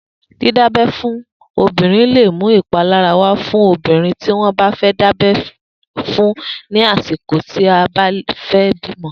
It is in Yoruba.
Didábẹ̀ fùn óbírín lé mú ipálárá wà fùn óbírín tiwọn dábẹ̀ fún ni àsíkó ti ó bá fè bimọ